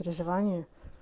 образование